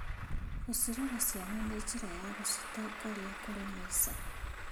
Gũcirora ciana nĩ njĩra wa gũcitongoria kũrĩ maica.